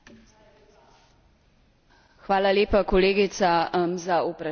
Hvala lepa, kolegica, za vprašanje, sem ga pričakovala.